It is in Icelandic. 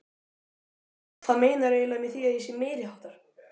Hvað meinarðu eiginlega með því að ég sé meiriháttar.